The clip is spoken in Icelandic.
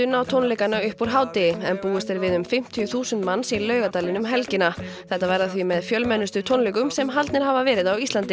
á tónleikana upp úr hádegi en búist er við um fimmtíu þúsund manns í Laugardalinn um helgina þetta verða því með fjölmennustu tónleikum sem haldnir hafa verið á Íslandi